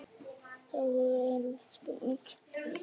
þetta er áhugaverð en erfið spurning